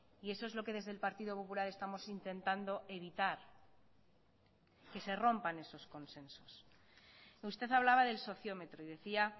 y eso es lo que desde el partido popular estamos intentando evitar que se rompan esos consensos usted hablaba del sociómetro y decía